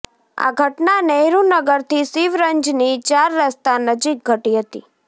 આ ધટના નહેરુનગરથી શિવરંજની ચાર રસ્તા નજીક ઘટી હતી